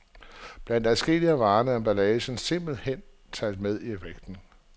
Blandt adskillige af varerne er emballagen simpelthen talt med i vægten.